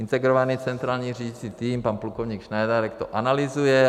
Integrovaný centrální řídící tým - pan plukovník Šnajdárek - to analyzuje.